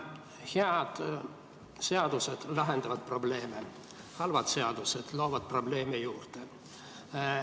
Head seadused lahendavad probleeme, halvad seadused loovad probleeme juurde.